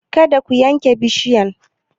Kada ku yanke bishiyan!